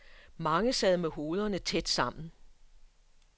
Mange sad med hovederne tæt sammen.